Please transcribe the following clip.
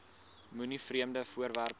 moenie vreemde voorwerpe